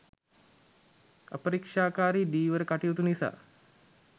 අපරීක්ෂාකාරී ධීවර කටයුතු නිසා